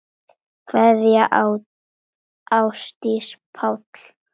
Kveðja Ásdís og Páll.